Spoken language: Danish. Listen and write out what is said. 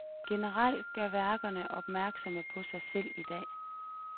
Generelt gør værkerne opmærksomme på sig selv i dag.